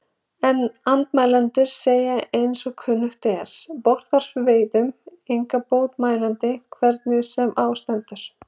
En andmælendur segja eins og kunnugt er, botnvörpuveiðum enga bót mælandi, hvernig sem á stendur.